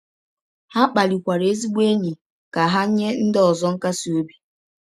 Ha kpalikwara ezigbo enyi ka ha nye ndị ọzọ nkasi obi.